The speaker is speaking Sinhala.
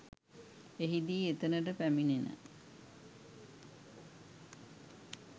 එහිදී එතනට පැමිණෙන